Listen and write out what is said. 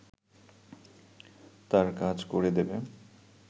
তার কাজ করে দেবে